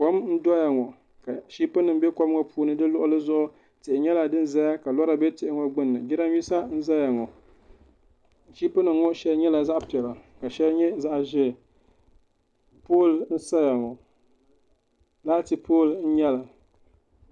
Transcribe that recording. Kom n doya ŋo ka ship nim bɛ kom ŋo puuni di luɣuli zuɣu tihi nyɛla din ʒɛya ka lora bɛ tihi ŋo gbunni di luɣuli zuɣu jiranbiisa n ʒɛya ŋo shiipi nim ŋo shɛli nyɛla zaɣ piɛla ka shɛli nyɛ zaɣ ʒiɛ pool n saya ŋo laati pool n nyɛli